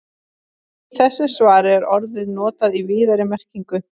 Í þessu svari er orðið notað í víðari merkingunni.